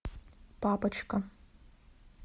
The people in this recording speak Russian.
папочка